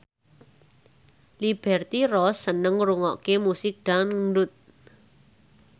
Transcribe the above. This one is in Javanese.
Liberty Ross seneng ngrungokne musik dangdut